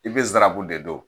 I be zarabu de don